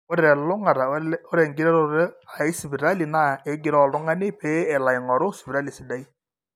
ore telulung'ata ore eng'iroroto aesipitali naa egiroo oltung'ani pee elo aing'oru sipitali sidai